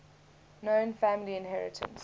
known family inheritance